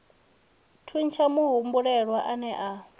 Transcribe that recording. thuntsha muhumbulelwa a ne a